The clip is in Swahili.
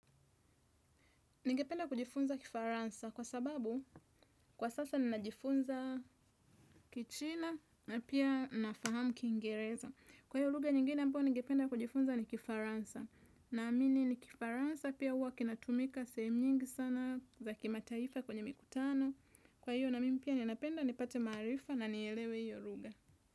Ningependa kujifunza kifaransa kwa sababu kwa sasa ninajifunza kichina na pia nafahamu kiingereza. Kwa hiyo lugha nyingine ambayo ningependa kujifunza ni kifaransa. Naamini ni kifaransa pia huwa kinatumika sehemu nyingi sana za kimataifa kwenye mikutano. Kwa hiyo na mimi pia ninapenda nipate maarifa na nieelewe hiyo lugha.